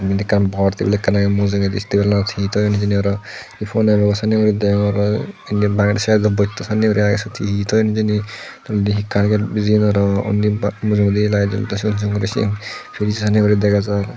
iben ekkan bor tebil agey mujungedi tebulanot he thoyun hijeni aro ponero sanne guri degong aro indi bangedi side ot bosta sannen guri agey suot hehe thoyun hijeni the undi he carpet bijeyun aro undi mujungedi light jolette sut waching mesin fridge oh sanne guri dega jar.